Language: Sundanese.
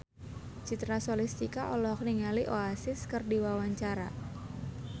Citra Scholastika olohok ningali Oasis keur diwawancara